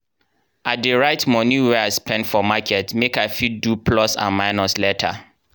i dey write moni wey i spend for market make i fit do plus and minus later.